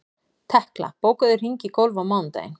Tekla, bókaðu hring í golf á mánudaginn.